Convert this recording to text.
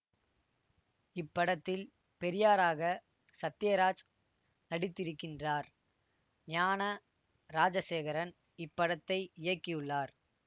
இப்படத்தில் பெரியாராக சத்தியராஜ் நடித்திருக்கின்றார் ஞான ராஜசேகரன் இப்படத்தை இயக்கியுள்ளார்